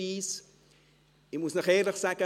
Ich muss Ihnen ehrlich sagen: